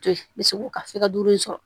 To yen me se k'u ka fika duuru in sɔrɔ